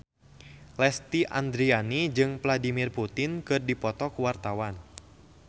Lesti Andryani jeung Vladimir Putin keur dipoto ku wartawan